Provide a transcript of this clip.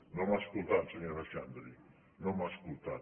no m’ha escoltat senyora xandri no m’ha escoltat